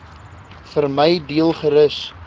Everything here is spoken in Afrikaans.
vermy deel gerus